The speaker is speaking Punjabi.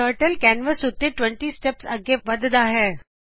Turtleਕੈਂਵਸ ਉੱਤੇ 20 ਸਟੈਪਸ ਅੱਗੇ ਵਦੱਦਾ ਹੈਂ